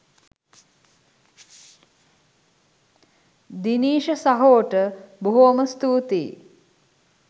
දිනීෂ සහෝට බොහොම ස්තුතියි.